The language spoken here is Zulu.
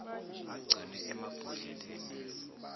agcinwe emab hodleleni